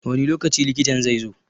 Wani lokaci likitan zai zo?